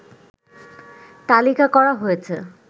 তালিকা করা হয়েছে